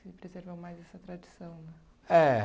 Você preservou mais essa tradição, né? É